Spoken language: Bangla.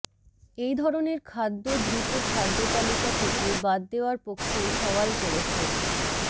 এই ধরনের খাদ্য দ্রুত খাদ্যতালিকা থেকে বাদ দেওয়ার পক্ষেই সওয়াল করেছেন